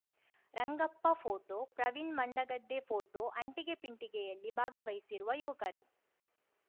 Rangappa photo Praveen Mandagadde photo ಅಂಟಿಗೆ ಪಿಂಟಿಗೆಯಲ್ಲಿ ಭಾಗವಹಿಸಿರುವ ಯುವಕರು